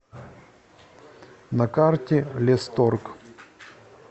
на карте лесторг